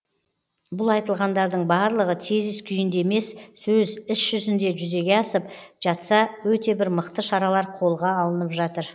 бұл айтылғандардың барлығы тезис күйінде емес сөз іс жүзінде жүзеге асып жатса өте бір мықты шаралар қолға алынып жатыр